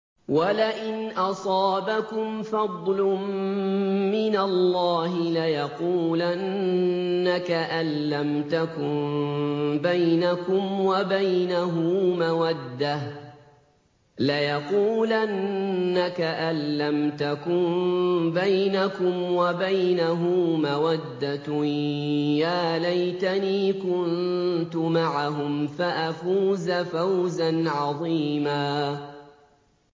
وَلَئِنْ أَصَابَكُمْ فَضْلٌ مِّنَ اللَّهِ لَيَقُولَنَّ كَأَن لَّمْ تَكُن بَيْنَكُمْ وَبَيْنَهُ مَوَدَّةٌ يَا لَيْتَنِي كُنتُ مَعَهُمْ فَأَفُوزَ فَوْزًا عَظِيمًا